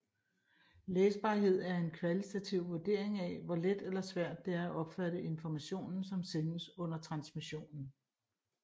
Læsbarhed er en kvalitativ vurdering af hvor let eller svært der er at opfatte informationen som sendes under transmissionen